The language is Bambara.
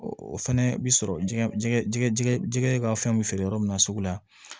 O fɛnɛ bi sɔrɔ jɛgɛ jɛgɛ ka fɛn be feere yɔrɔ min na sugu la